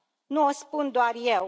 Nu o spun doar eu.